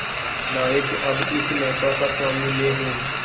नायक अब इस नौका का स्वामी मैं हूं